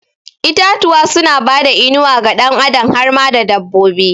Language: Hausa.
Itatuwa suna bada inuwa ga ɗan adam har ma da dabbobi